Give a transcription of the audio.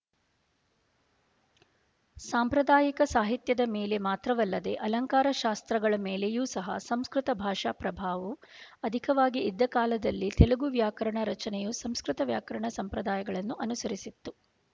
ಸಾಂಪ್ರದಾಯಿಕ ಸಾಹಿತ್ಯದ ಮೇಲೆ ಮಾತ್ರವಲ್ಲದೆ ಅಲಂಕಾರ ಶಾಸ್ತ್ರಗಳ ಮೇಲೆಯು ಸಹ ಸಂಸ್ಕೃತ ಭಾಷಾ ಪ್ರಭಾವು ಅಧಿಕವಾಗಿ ಇದ್ದ ಕಾಲದಲ್ಲಿ ತೆಲುಗು ವ್ಯಾಕರಣ ರಚನೆಯು ಸಂಸ್ಕೃತ ವ್ಯಾಕರಣ ಸಂಪ್ರದಾಯಗಳನ್ನು ಅನುಸರಿಸಿತ್ತು